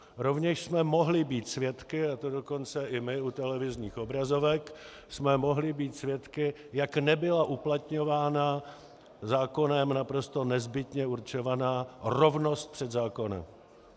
Rovněž jsme mohli být svědky, a to dokonce i my u televizních obrazovek jsme mohli být svědky, jak nebyla uplatňována zákonem naprosto nezbytně určovaná rovnost před zákonem.